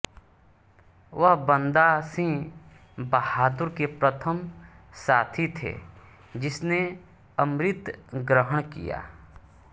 वह बन्दा सिंह बहादुर के प्रथम साथी थे जिसने अमृत ग्रहण किया